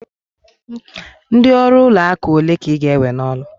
Ndị ọrụ ụlọ akụ ole ka ị ga-ewe n'ọrụ?